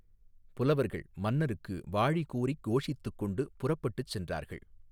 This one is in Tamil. புலவர்கள் மன்னருக்கு வாழி கூறிக் கோஷித்துக் கொண்டு புறப்பட்டுச் சென்றார்கள்.